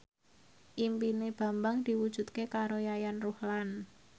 impine Bambang diwujudke karo Yayan Ruhlan